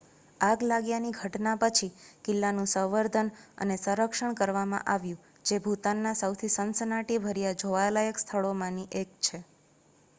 આગ લાગ્યાની ઘટના પછી કિલ્લાનું સંવર્ધન અને સંરક્ષણ કરવામાં આવ્યું જે ભૂતાનના સૌથી સનસનાટીભર્યા જોવાલાયક સ્થળોમાંથી એક છે